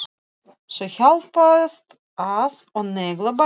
Þau hjálpast að og negla bæði.